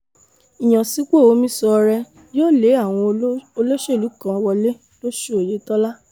ìyànsípò omisọọ̀rẹ́ yóò lé àwọn oló olóṣèlú kan wọlé lọ́sùn oyetola